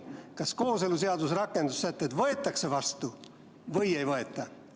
Kas kooseluseaduse rakendussätted võetakse vastu või ei võeta?